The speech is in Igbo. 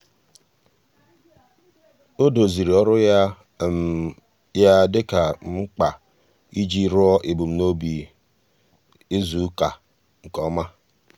ọ́ dòzìrì ọ́rụ́ ya ya dika mkpa iji rúó èbùmnòbì izùùka nke ọ́ma.